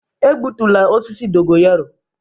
Egbutula osisi dogo yaro.